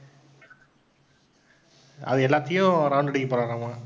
அது எல்லாத்தையும் round அடிக்கப்போறாறாமா